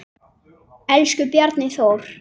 Elsku Bjarni Þór.